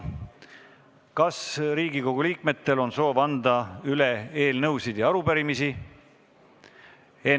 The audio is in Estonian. Kas Riigikogu liikmetel on soov anda üle eelnõusid ja arupärimisi?